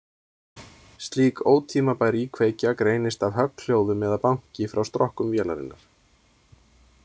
Slík ótímabær íkveikja greinist af högghljóðum eða banki frá strokkum vélarinnar.